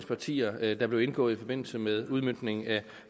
partier der blev indgået i forbindelse med udmøntningen af